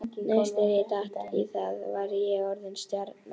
Næst þegar ég datt í það var ég orðinn stjarna.